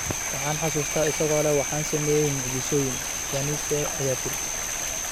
Waxaan xusuustaa isagoo leh waxaan sameeyay mucjisooyin,” Janice ayaa tiri.